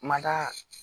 Ma da